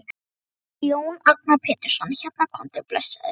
Þetta er Jón Agnar Pétursson hérna, komdu blessaður.